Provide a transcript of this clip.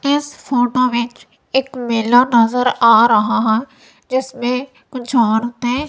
इस फोटो विच एक मेला नजर आ रहा हैं जिसमें कुछ औरते--